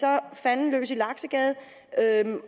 er fanden løs i laksegade